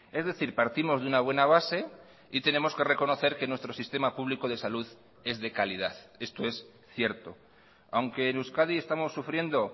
es decir partimos de una buena base y tenemos que reconocer que nuestro sistema público de salud es de calidad esto es cierto aunque en euskadi estamos sufriendo